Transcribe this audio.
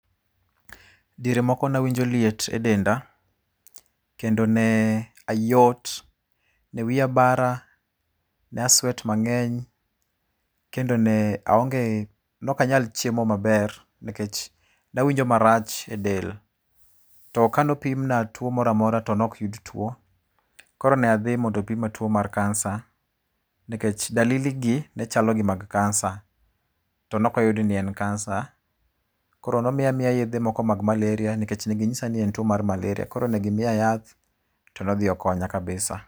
Diere moko nawinjo liet e denda, kendo ne ayot, ne wiya bara, ne a sweat mang'eny, kendo ne aonge , nokanyal chiemo maber, nikech nawinjo marach e del. To ka nopimna tuo moramora to nok yud tuo. Koro ne adhi mondo pima tuo mar kansa, nikech dalili gi nechalo gi mag kansa. To nok oyud ni en kansa. Koro nomiya miya yedhe moko mag malaria nikech neginyisa ni en tuo mar malaria. Koro negimiya yath. To ne odhi okonya kabisa.